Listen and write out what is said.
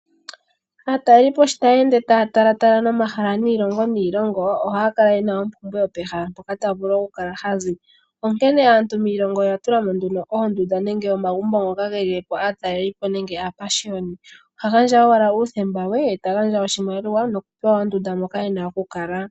Aatalelipo sho tayeende taa talatala nomahala giilongo niilongo ohaya kala yena opumbwe yomahala mpoka taya zi, onkene aantu miilongo yawo oya tula mo oondunda nenge omagumbo gaatalelipo nenge aapashioni, omuntu oha gandja owala uuthemba we noshimaliwa nokupewa ondunda moka ena okukala.